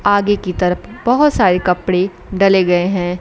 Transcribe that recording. आगे की तरफ बहुत सारे कपड़े डले गए हैं।